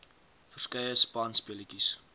verskeie spanspe letjies